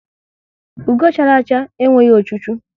Ugo chara acha enweghị ochu chu